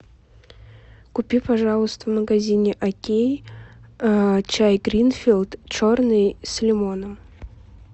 купи пожалуйста в магазине окей чай гринфилд черный с лимоном